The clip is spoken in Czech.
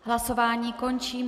Hlasování končím.